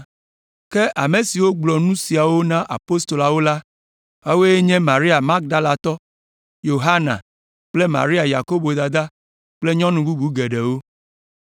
Ke ame siwo gblɔ nu siawo na Apostoloawo la, woawoe nye Maria Magdalatɔ, Yohana kple Maria Yakobo dada kple nyɔnu bubu geɖewo.